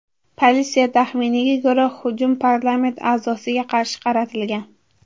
Politsiya taxminiga ko‘ra, hujum parlament a’zosiga qarshi qaratilgan.